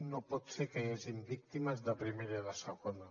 no pot ser que hi hagi víctimes de primera i de segona